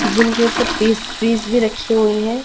जिनके के ऊपर पेस्ट्रीज भी रखी हुई है।